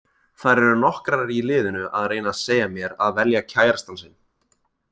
Þær eru nokkrar í liðinu að reyna að segja mér að velja kærastann sinn.